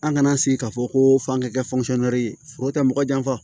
An kana sigi k'a fɔ ko f'an ka kɛ ye foro tɛ mɔgɔ janfa